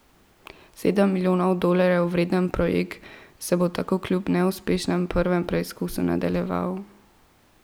Sedem milijonov dolarjev vreden projekt se bo tako kljub neuspešnem prvem preizkusu nadaljeval.